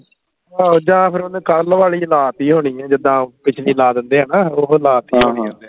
ਆਹੋ ਜਾਂ ਫੇਰ ਓਹਨੇ ਕੱਲ ਵਾਲੀ ਲਾ ਤੀ ਹੋਣੀ ਹੈ ਜਿੱਦਾਂ ਪਿਛਲੀ ਲਾ ਦਿੰਦੇ ਹੈ ਨਾ ਓਹੋ ਲਾ ਤੀ ਹੋਣੀ ਹਾਂ ਹਾਂ ਹੈ ਓਹਨੇ